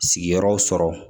Sigiyɔrɔ sɔrɔ